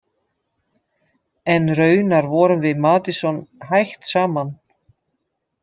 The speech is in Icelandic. En raunar vorum við Madison hætt saman.